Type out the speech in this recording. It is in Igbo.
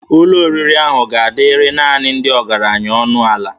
Ụlọ oriri ahụ ga-adịrị naanị ndị ọgaranya ọnụ ala